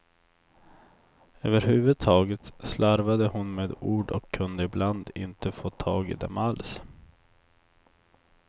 Överhuvudtaget slarvade hon med ord och kunde ibland inte få tag i dem alls.